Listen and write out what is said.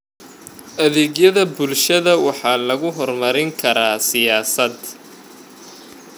Adeegyada bulshada waxa lagu horumarin karaa siyaasad.